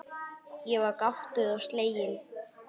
Ég var gáttuð og slegin.